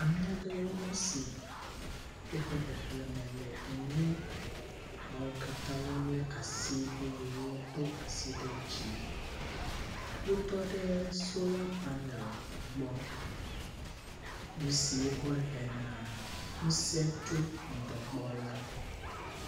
Ame aɖewoe nye si, woƒe xexleme le enyi, wo katã wole asi wodo asi ɖe dzi, wotɔ ɖe sola panel gbɔ, nu si wokɔ hena ŋusẽ tso ŋdɔ gbɔ la